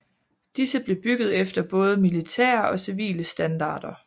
Disse blev bygget efter både militære og civile standarder